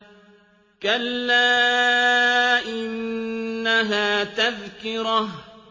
كَلَّا إِنَّهَا تَذْكِرَةٌ